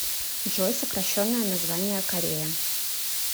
джой сокращенное название корея